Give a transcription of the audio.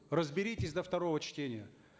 разберитесь до второго чтения